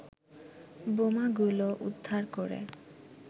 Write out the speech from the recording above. বোমাগুলো উদ্ধার করে